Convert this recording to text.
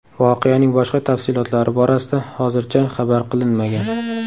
Voqeaning boshqa tafsilotlari borasida hozircha xabar qilinmagan.